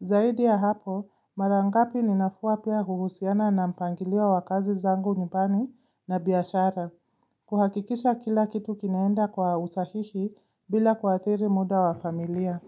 Zaidi ya hapo, mara ngapi ninafua pia huhusiana na mpangilio wa kazi zangu nyubani na bihashara. Kuhakikisha kila kitu kinaenda kwa usahihi bila kuathiri muda wa familia.